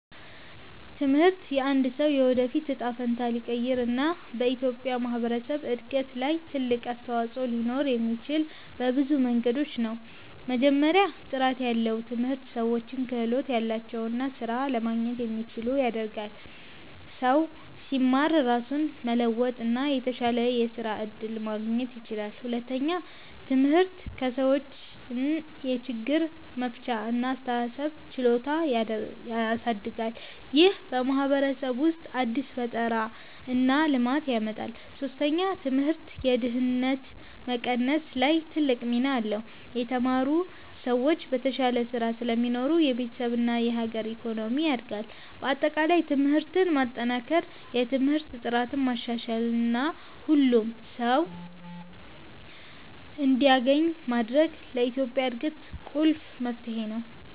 ትምህርት የአንድን ሰው የወደፊት እጣ ፈንታ ሊቀይር እና በኢትዮጵያ ማህበረሰብ እድገት ላይ ትልቅ አስተዋፅኦ ሊኖረው የሚችለው በብዙ መንገዶች ነው። መጀመሪያ፣ ጥራት ያለው ትምህርት ሰዎችን ክህሎት ያላቸው እና ስራ ለማግኘት የሚችሉ ያደርጋል። ሰው ሲማር ራሱን መለወጥ እና የተሻለ የስራ እድል ማግኘት ይችላል። ሁለተኛ፣ ትምህርት ሰዎችን የችግር መፍቻ እና የአስተሳሰብ ችሎታ ያሳድጋል። ይህ በማህበረሰብ ውስጥ አዲስ ፈጠራ እና ልማት ያመጣል። ሶስተኛ፣ ትምህርት የድህነት መቀነስ ላይ ትልቅ ሚና አለው። የተማሩ ሰዎች በተሻለ ስራ ስለሚሰሩ የቤተሰብ እና የአገር ኢኮኖሚ ያድጋል። በአጠቃላይ ትምህርትን ማጠናከር፣ የትምህርት ጥራትን ማሻሻል እና ሁሉም ሰው እንዲያገኝ ማድረግ ለኢትዮጵያ እድገት ቁልፍ መፍትሄ ነው።